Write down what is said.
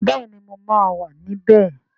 Bẹẹni mo máa wà níbẹ̀